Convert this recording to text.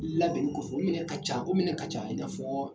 I labɛnnen kɔfɛ u minɛ ka ca , u minɛ ka ca i n'a fɔ.